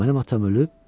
Mənim atam ölüb?